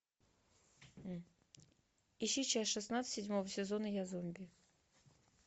ищи часть шестнадцать седьмого сезона я зомби